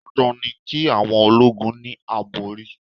Dandan ni ki awon ológun ni àbòrí.